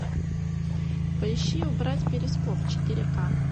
поищи убрать перископ четыре ка